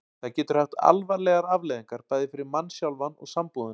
Það getur haft alvarlegar afleiðingar, bæði fyrir mann sjálfan og sambúðina.